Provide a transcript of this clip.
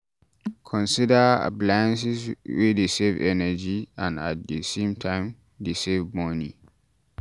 Consider appliances wey dey save energy and at di same time dey save money